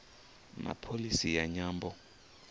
na pholisi ya nyambo